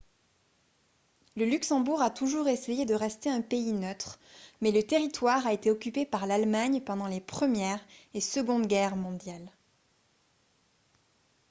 le luxembourg a toujours essayé de rester un pays neutre mais le territoire a été occupé par l'allemagne pendant les première et seconde guerres mondiales